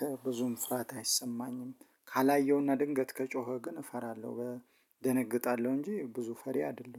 ከብዙም ፍርሃት አይሰማኝም። ካላየውና ድንገት ከጮኸ ግን እፈራለሁ በእደነግጣለሁ እንጂ ብዙ ፈሪ አይደለሁም